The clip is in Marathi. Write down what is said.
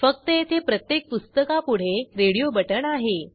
फक्त येथे प्रत्येक पुस्तकापुढे रेडिओ बटण आहे